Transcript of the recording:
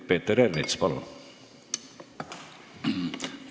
Peeter Ernits, palun!